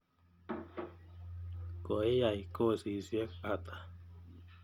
Koiyai kosisyek ata?